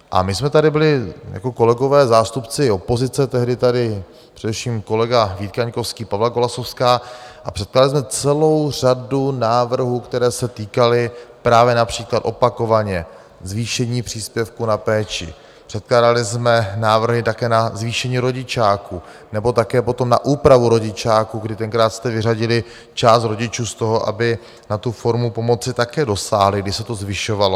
A my jsme tady byli jako kolegové, zástupci opozice, tehdy tady především kolega Vít Kaňkovský, Pavla Golasowská, a předkládali jsme celou řadu návrhů, které se týkaly právě například opakovaně zvýšení příspěvku na péči, předkládali jsme návrhy také na zvýšení rodičáku nebo také potom na úpravu rodičáku, kdy tenkrát jste vyřadili část rodičů z toho, aby na tu formu pomoci také dosáhli, když se to zvyšovalo.